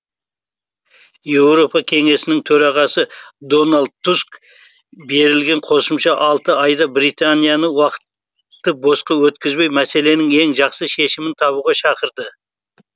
еуропа кеңесінің төрағасы дональд туск берілген қосымша алты айда британияны уақытты босқа өткізбей мәселенің ең жақсы шешімін табуға шақырды